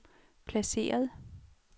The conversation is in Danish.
placeret